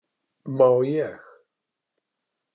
Má ég?